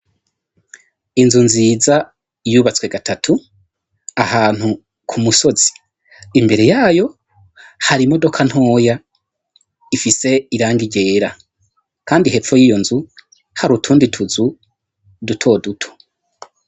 Inzu nziza yubatswe gatatu ahantu ku musozi. Imbere yayo hari imodoka ntoya ifise irangi ryera, kandi hepfo yiyo nzu hari utundi tuzu duto duto.